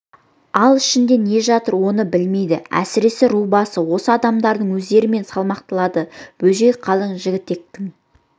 ал ішінде не жатыр оны білмейді әсіресе ру басы осы адамдардың өздерімен салмақталады бөжей қалың жігітектің